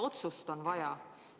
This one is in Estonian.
Otsust on vaja.